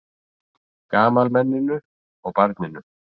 Gamalmenninu og barninu.